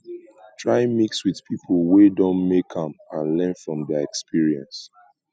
try mix with pipo wey don make am and learn from their experience